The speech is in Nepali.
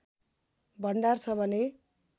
भण्डार छ भन्ने